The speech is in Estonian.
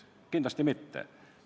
Kindlasti mitte.